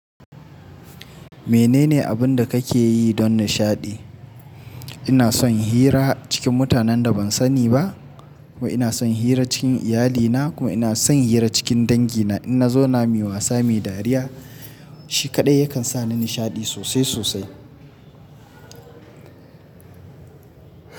Menene abin da kake yi don nishaɗi? Ina son hira cikin mutanen da ban sani ba, kuma ina son hira cikin iyalina kuma ina son hira cikin dangina. In na zo nami wasa mai dariya, shi kaɗai yakan sa ni nishaɗi sosai sosai.